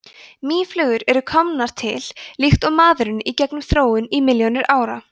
mýflugur eru komnar til líkt og maðurinn í gegnum þróun í milljónir ára